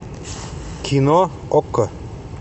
кино окко